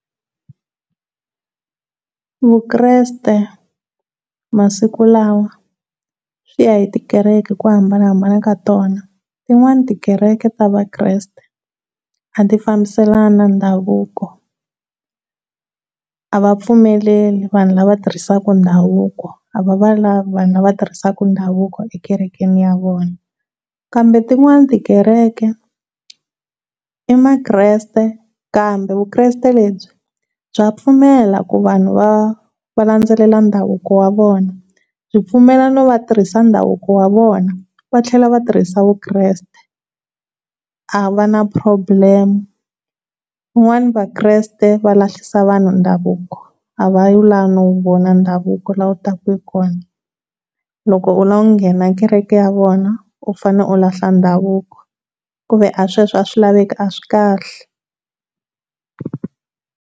Vukreste masiku lawa swi ya hi tikereke hi ku hambanahambana ka tona, tin'wani tikereke ta Vakreste a ti fambiselani na ndhavuko, a va pfumeleri vanhu lava tirhisiwaku ndhavuko, a va va pfumeleri a va va lavi vanhu la va tirhisaka ndhavuko ekerekeni ya vona kambe tin'wani tikereke i makreste kambe Vukreste lebyi bya pfumela ku vanhu va va landzelela ndhavuko wa vona, byi mpfumelela ku va tirhisa ndhavuko wa vona va tlhela vatirhisi vukreste a va na problem, yi n'wana Vakreste va lahlisa vanhu ndhavuko a va lavi no wu vona ndhavuko laha wu taka hi kona loko u lava ku nghena kereke ya vona u fanele u lahla ndhavuko ku ve sweswo a swi laveki, a swikahle.